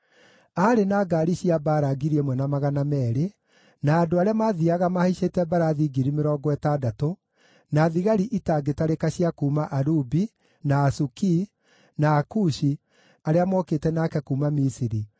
Aarĩ na ngaari cia mbaara 1,200 na andũ arĩa mathiiaga mahaicĩte mbarathi 60,000, na thigari itangĩtarĩka cia kuuma Alubi, na Asukii, na Akushi arĩa mookĩte nake kuuma Misiri,